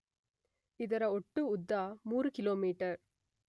ಇದರ ಒಟ್ಟು ಉದ್ದ 3 ಕಿಲೋಮೀಟರ್